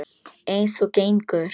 Eins og gengur.